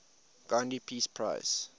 gandhi peace prize